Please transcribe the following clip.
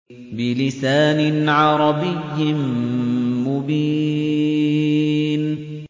بِلِسَانٍ عَرَبِيٍّ مُّبِينٍ